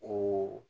O